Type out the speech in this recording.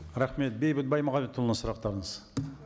рахмет бейбіт баймағамбетұлына сұрақтарыңыз